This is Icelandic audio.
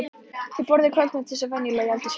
Þau borðuðu kvöldmat eins og venjulega í eldhúsinu.